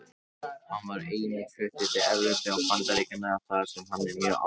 Hann var einnig fluttur til Evrópu og Bandaríkjanna þar sem hann er mjög algengur.